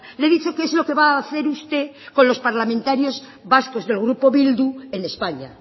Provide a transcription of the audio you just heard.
le he dicho qué es lo que va a hacer usted con los parlamentarios vascos del grupo bildu en españa